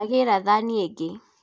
Ndagĩra thani ingĩ